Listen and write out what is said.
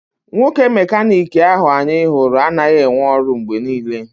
Nwoke mecanic ahụ anyị hụrụ anaghị enwe ọrụ mgbe niile.